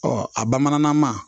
a bamanankan man